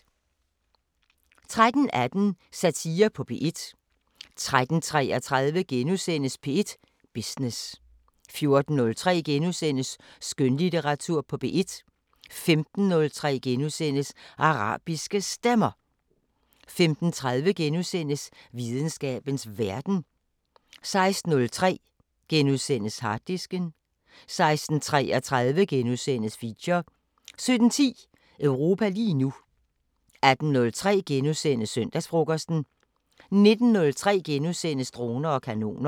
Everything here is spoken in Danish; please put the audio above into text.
13:18: Satire på P1 13:33: P1 Business * 14:03: Skønlitteratur på P1 * 15:03: Arabiske Stemmer * 15:30: Videnskabens Verden * 16:03: Harddisken * 16:33: Feature * 17:10: Europa lige nu 18:03: Søndagsfrokosten * 19:03: Droner og kanoner *